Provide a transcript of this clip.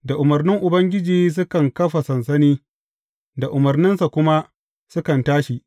Da umarnin Ubangiji sukan kafa sansani, da umarninsa kuma sukan tashi.